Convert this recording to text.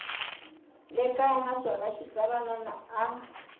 le kaya naswona xitsalwana a